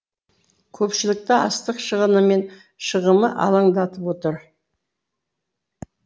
көпшілікті астық шығыны мен шығымы алаңдатып отыр